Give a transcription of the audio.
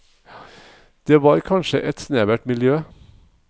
Det var kanskje et snevert miljø.